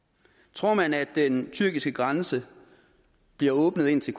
tror man at den tyrkiske grænse bliver åbnet ind til